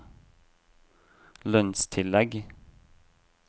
lønnstillegg